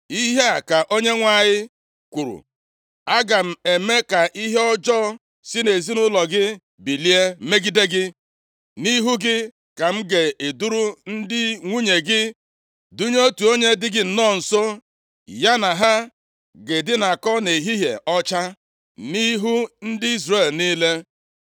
“Ihe a ka Onyenwe anyị kwuru, ‘Aga m eme ka ihe ọjọọ si nʼezinaụlọ gị bilie megide gị. Nʼihu gị ka m ga-eduru ndị nwunye gị dunye otu onye dị gị nnọọ nso, ya na ha ga-edinakọ nʼehihie ọcha, nʼihu ndị Izrel niile.